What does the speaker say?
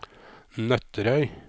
Nøtterøy